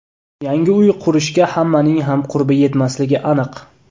Yangi uy qurishga hammaning ham qurbi yetmasligi aniq.